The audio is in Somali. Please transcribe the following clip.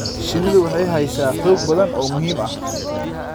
Shinnidu waxay haysaa xog badan oo muhiim ah.